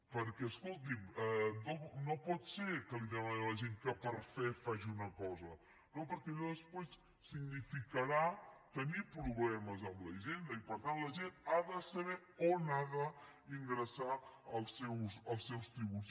perquè escolti’m no pot ser que li demanem a la gent que per fe faci una cosa no perquè allò després significarà tenir problemes amb la hisenda i per tant la gent ha de saber on ha d’ingressar els seus tributs